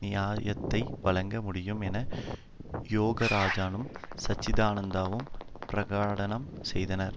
நியாயத்தை வழங்க முடியும் என யோகராஜனும் சச்சிதானந்தானும் பிரகடனம் செய்தனர்